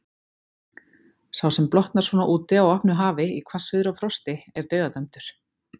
Sá sem blotnar svona úti á opnu hafi, í hvassviðri og frosti, er dauðadæmdur.